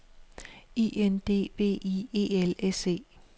I N D V I E L S E